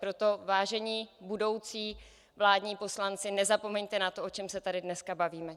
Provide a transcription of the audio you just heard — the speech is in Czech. Proto, vážení budoucí vládní poslanci, nezapomeňte na to, o čem se tady dneska bavíme.